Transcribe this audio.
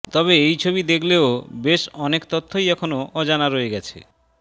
তবে এই ছবি দেখলেও বেশ অনেক তথ্যই এখনও অজানা রয়েগেছে